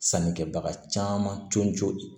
Sannikɛbaga caman joli